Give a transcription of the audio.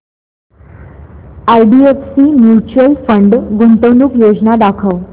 IDFC mutual fund गुंतवणूक योजना दाखव